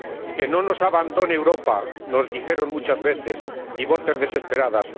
Que no nos abandone Europa, nos dijeron muchas veces, y voces desesperadas.